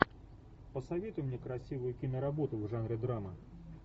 посоветуй мне красивую киноработу в жанре драма